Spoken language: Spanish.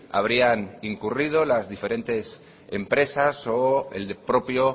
habrían incurrido las diferentes empresas o el propio